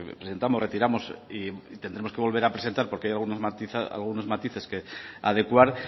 presentamos y retiramos y tendremos que volver a presentar porque hay algunos matices que adecuar